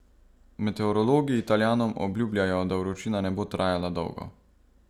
Meteorologi Italijanom obljubljajo, da vročina ne bo trajala dolgo.